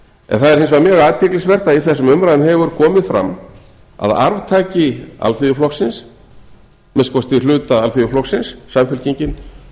er hins vegar mjög athyglisvert að í þessum umræðum hefur komið fram að arftaki alþýðuflokksins minnsta kosti hluta alþýðuflokksins samfylkingin